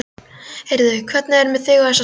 Heyrðu, hvernig er með þig og þessa stelpu?